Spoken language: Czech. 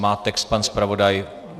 Má text pan zpravodaj?